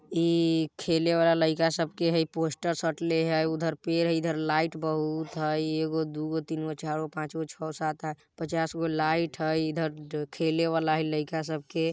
ये खेले वाला लईका सब के हई पोस्टर साटले हई उधर पेड़ हई इधर लाईट बहुत हई एगो दुगो तीन गो चार गो पाँच गो छौ सात आठ पचास गो लाईट हई इधर खेले वाला हई लईका सब के।